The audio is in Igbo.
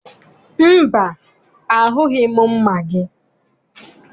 Mba, ahụghị m mma gị.